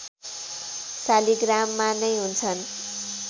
शालिग्राममा नै हुन्छन्